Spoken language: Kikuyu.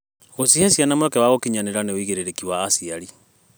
Gũcihe ciana mweke wa gũkinyanĩra nĩ wĩigĩrĩrĩki wa aciari.